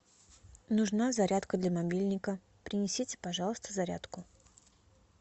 нужна зарядка для мобильника принесите пожалуйста зарядку